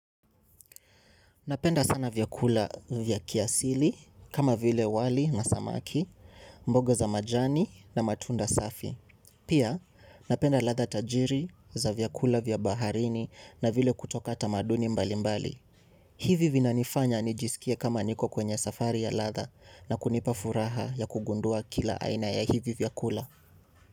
Napenda sana vyakula vyakula kiasili kama vile wali na samaki, mboga za majani na matunda safi. Pia napenda ladha tajiri za vyakula vya baharini na vile kutoka tamaduni mbalimbali. Hivi vinanifanya nijisikie kama niko kwenye safari ya ladha na kunipa furaha ya kugundua kila aina ya hivi vyakula.